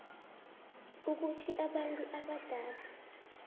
ukuthi abantu abadala